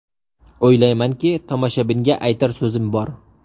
O‘ylaymanki, tomoshabinga aytar so‘zim bor.